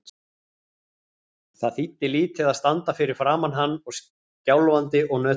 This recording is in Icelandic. Það þýddi lítið að standa fyrir framan hann og skjálfandi og nötrandi.